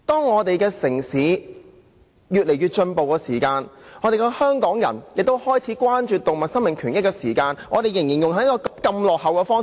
我們的城市越來越進步，香港人開始關注動物生命權益，政府卻仍採用人道毀滅這種落後的方法。